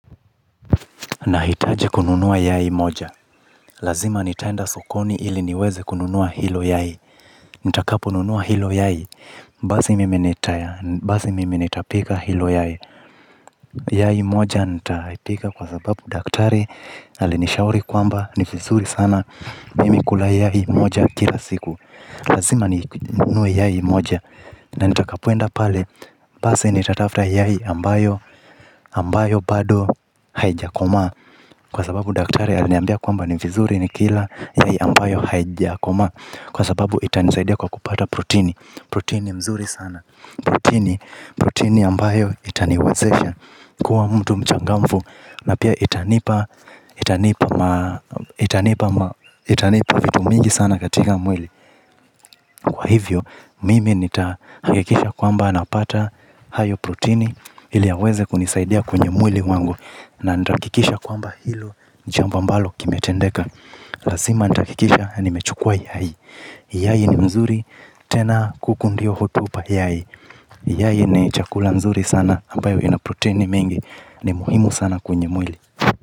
Nahitaji kununua yai moja. Lazima nitaenda sokoni ili niweze kununua hilo yai. Nitakaponunua hilo yai. Basi mimi nitaya. Basi mime nitapika hilo yae. Yai moja nitaipika kwa sababu daktari. Alinishauri kwamba, ni vizuri sana. Mimi kula yai moja kila siku. Lazima ninunue yai moja. Na nitakapoenda pale. Basi nitatafuta yai ambayo ambayo bado haijakomaa. Kwa sababu daktari aliniambia kwanba ni viziri nikiila ile ambayo haijakomaa, kwa sababu itanisa kuwa mtu mchangamfu na pia itanipa itanipa ma itanipa ma itanipa vitu mingi sana katika mwili. Kwa hivyo mimi nitahakikisha kwamba napata hayo protini ili yaweze kunisaidia kwenye mwili wangu na nitahakikisha kwamba hilo jambo ambalo kimetendeka. Lazima nitahakikisha nimechukua yai yai ni mzuri tena kuku ndiyo hutupa yai yai ni chakula nzuri sana ambayo ina protini mingi ni muhimu sana kwenye mwili.